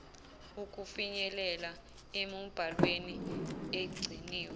ukufinyelela emibhalweni egciniwe